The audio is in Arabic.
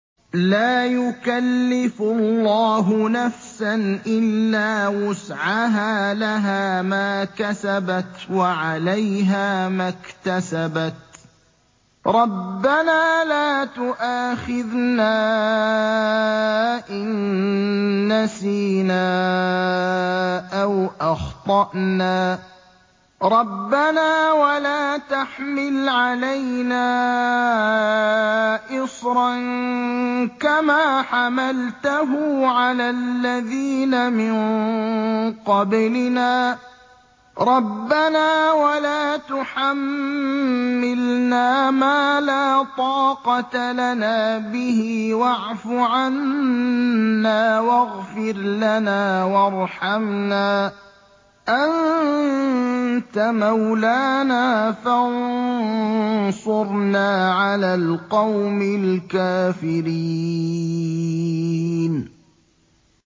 لَا يُكَلِّفُ اللَّهُ نَفْسًا إِلَّا وُسْعَهَا ۚ لَهَا مَا كَسَبَتْ وَعَلَيْهَا مَا اكْتَسَبَتْ ۗ رَبَّنَا لَا تُؤَاخِذْنَا إِن نَّسِينَا أَوْ أَخْطَأْنَا ۚ رَبَّنَا وَلَا تَحْمِلْ عَلَيْنَا إِصْرًا كَمَا حَمَلْتَهُ عَلَى الَّذِينَ مِن قَبْلِنَا ۚ رَبَّنَا وَلَا تُحَمِّلْنَا مَا لَا طَاقَةَ لَنَا بِهِ ۖ وَاعْفُ عَنَّا وَاغْفِرْ لَنَا وَارْحَمْنَا ۚ أَنتَ مَوْلَانَا فَانصُرْنَا عَلَى الْقَوْمِ الْكَافِرِينَ